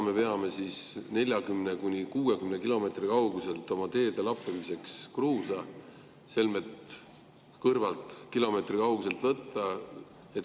Me veame 40–60 kilomeetri kauguselt kruusa oma teede lappimiseks, selmet võtta kõrvalt, kilomeetri kauguselt.